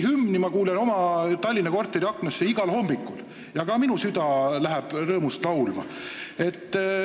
Hümni kuulen ma oma Tallinna korteri aknast igal hommikul ja ka minu süda hakkab siis rõõmust laulma.